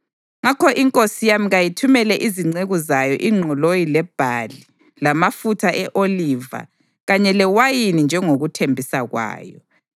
Ngakho inkosi yami kayithumele izinceku zayo ingqoloyi lebhali lamafutha e-oliva kanye lewayini njengokuthembisa kwayo.